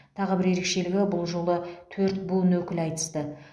тағы бір ерекшелігі бұл жолы төрт буын өкілі айтысты